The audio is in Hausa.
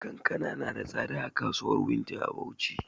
Kankana na da tsada a kasuwan wunti a bauchi